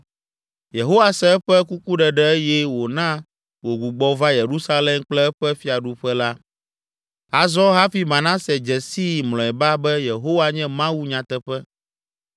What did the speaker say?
Yehowa se eƒe kukuɖeɖe eye wòna wògbugbɔ va Yerusalem kple eƒe fiaɖuƒe la. Azɔ hafi Manase dze sii mlɔeba be Yehowa nye Mawu nyateƒe!